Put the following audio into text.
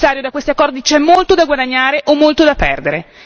Signor Commissario, da questi accordi c'è molto da guadagnare o molto da perdere